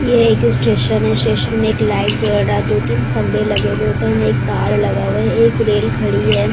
ये एक स्टेशन है स्टेशन में एक लाइट जल रहा है दो तीन खंबे लगे हुए हैं उधर में एक तार लगा हुआ है एक रेल खड़ी है।